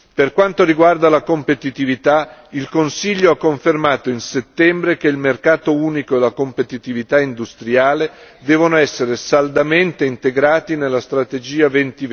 Per quanto riguarda la competitività, il Consiglio ha confermato in settembre che il mercato unico e la competitività industriale devono essere saldamente integrati nella strategia Europa